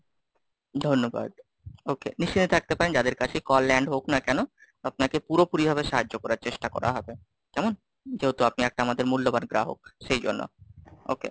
ধন্যবাদ, Okay, নিশ্চিন্তে থাকতে পারেন যাদের কাছে Call Land হোক না কেন, আপনাকে পুরোপুরি ভাবে সাহায্য করার চেষ্টা করা হবে, কেমন? যেহেতু আপনি একটা আমাদের মূল্যবান গ্রাহক, সেই জন্য, Okay,